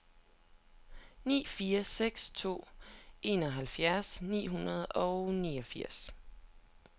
ni fire seks to enoghalvfjerds ni hundrede og niogfirs